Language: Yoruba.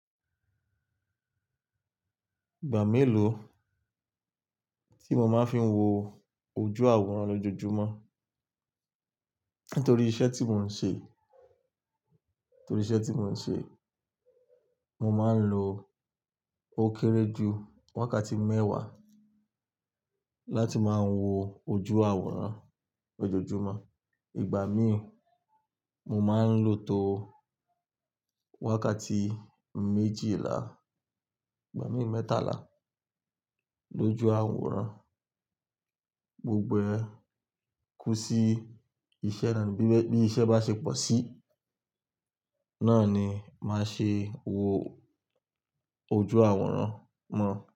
Ìgbà mélòó tí mo máa ń fi wo ojú àwòrán lójojúmọ́? Nítorí iṣẹ́ tí mò ń ṣe, nítorí iṣẹ́ tí mò ń ṣe, mo máa ń lo ó kéré jù wákàtí mẹ́wàá láti máa wo ojú àwòrán lójojúmọ́. Ìgbà míì mo máa ń lò tó wákàtí méjìlá, ìgbà míì mẹ́tàlá lójú àwòrán. Gbogbo ẹ́ kú sí bí iṣẹ́ bá ṣe pọ̀ sí, náà ni màá ṣe wo ojú àwòrán mọ́